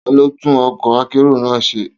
Ta ló tún ọkọ̀ akérò náà ṣe?